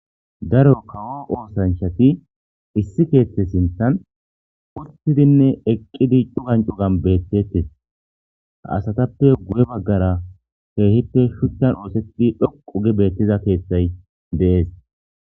Daro kawo oothanchati issi keeththe sinthen uttiday ne eqqiday beetetees. Asatape guye baggara shuchan oothetida keethi dhoqqu giidi beetees.